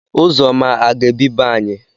Uzoma aga-ebi be anyị.